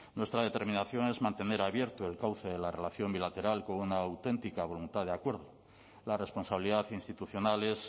nuestra determinación es mantener abierto el cauce de la relación bilateral con una auténtica voluntad de acuerdo la responsabilidad institucional es